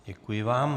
Děkuji vám.